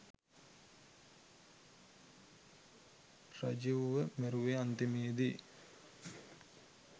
රජීව්ව මැරුවෙ අන්තිමේදි